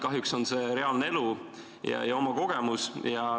Kahjuks on see reaalne elu ja mu oma kogemus.